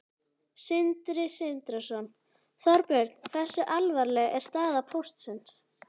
Sindri Sindrason: Þorbjörn, hversu alvarleg er staða Póstsins?